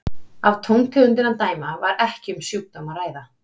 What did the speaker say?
Af tóntegundinni að dæma var ekki um sjúkdóm að ræða.